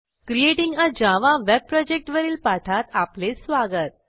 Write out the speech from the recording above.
creating a Java web project वरील पाठात आपले स्वागत